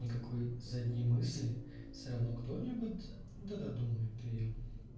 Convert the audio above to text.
никакой задней мысли все равно кто-нибудь да думает её